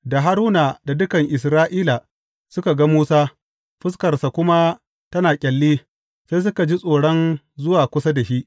Da Haruna da dukan Isra’ila suka ga Musa, fuskarsa kuma tana ƙyalli, sai suka ji tsoron zuwa kusa da shi.